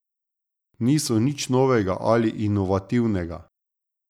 Niso nič novega ali inovativnega.